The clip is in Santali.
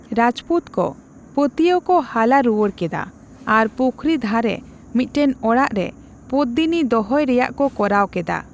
ᱨᱟᱡᱯᱩᱛ ᱠᱚ ᱯᱟᱹᱛᱭᱟᱹᱣ ᱠᱚ ᱦᱟᱞᱟ ᱨᱩᱣᱟᱹᱲ ᱠᱮᱫᱟ ᱟᱨ ᱯᱩᱠᱷᱨᱤ ᱫᱷᱟᱨᱮ ᱢᱤᱫᱴᱟᱝ ᱚᱲᱟᱜ ᱨᱮ ᱯᱚᱫᱫᱤᱱᱤ ᱫᱚᱦᱚᱭ ᱨᱮᱭᱟᱜ ᱠᱚ ᱠᱚᱨᱟᱣ ᱠᱮᱫᱟ ᱾